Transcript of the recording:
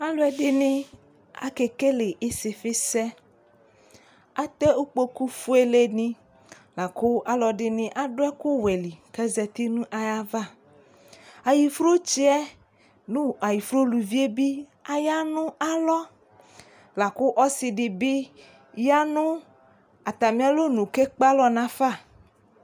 Alʋɛdɩnɩ, akekele ɩsɩfɩsɛ Atɛ ukpokufuelenɩ la kʋ alʋɛdɩnɩ adʋ ɛkʋwɛ li kʋ azati nʋ ayava Ayɩfrutsɩ yɛ nʋ ayɩfru uluvi yɛ bɩ aya nʋ alɔ la kʋ ɔsɩ dɩ bɩ ya nʋ atamɩ alɔnu kʋ ekpe alɔ nafa